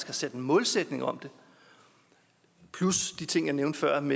har sat en målsætning om det plus de ting jeg nævnte før om